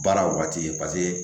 Baara waati